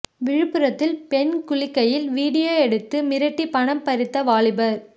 விழுப்புரத்தில் பெண் குளிக்கையில் வீடியோ எடுத்து மிரட்டி பணம் பறித்த வாலிபர்